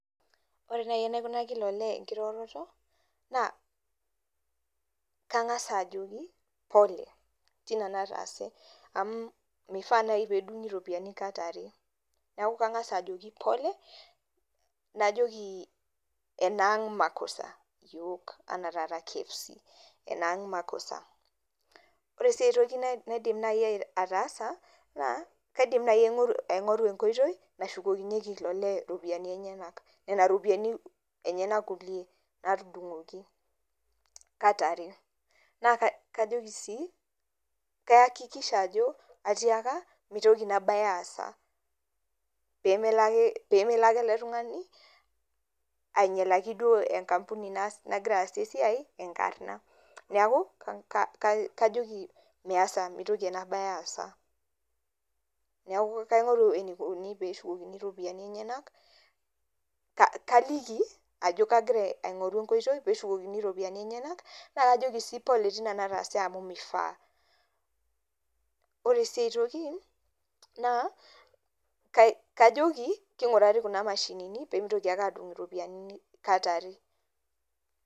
Ore nai enaikunaki ilo lee enkiroroto, naa, kang'asa ajoki pole, tina nataase. Amu mifaa nai pedung'i ropiyiani kat are. Neeku kang'asa ajoki pole, najoki enaang' makosa ,ashu enaa taata KFC,enaang' makosa. Ore si aitoki naidim nai ataasa, naa, kaidim nai aing'oru enkoitoi, nashukokinyeki ilo lee ropiyiani enyanak. Nena ropiyiani enyanak kulie natudung'oki kata are. Naa kajoki sii, kaakikisha ajo, atiaka, mitoki inabae aasa. Pemelo ake ele tung'ani ainyalaki duo enkampuni nagira aasie esiai, enkarna. Neeku, kajoki meesa mitoki ena bae assa. Neeku kaing'oru enikoni pee shukokini ropiyiani enyanak, kaliki ajo kagira aing'oru enkoitoi peshukokini ropiyiani enyanak, na kajoki si pole tina nataase amu mifaa. Ore si aitoki naa, kajoki, king'urari kuna mashinini, pemitoki ake adung' iropiyiani kat are.